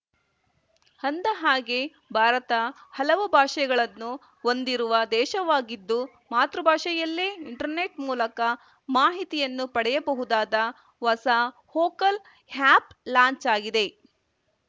ಅಂದಹಾಗೆ ಭಾರತ ಹಲವು ಭಾಷೆಗಳನ್ನು ಹೊಂದಿರುವ ದೇಶವಾಗಿದ್ದು ಮಾತೃಭಾಷೆಯಲ್ಲೇ ಇಂಟರ್ನೆಟ್‌ ಮೂಲಕ ಮಾಹಿತಿಯನ್ನು ಪಡೆಯಬಹುದಾದ ಹೊಸ ವೋಕಲ್‌ ಆಯಪ್‌ ಲಾಂಚ್‌ ಆಗಿದೆ